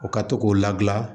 U ka to k'u ladilan